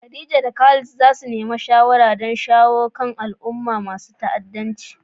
Khadija da Khalid za su nemi shawara don shawo kan al'amuransu na ta'addanci.